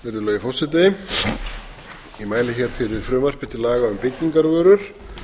virðulegi forseti ég mæli hér fyrir frumvarpi til laga um byggingarvörur